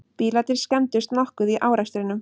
Bílarnir skemmdust nokkuð í árekstrinum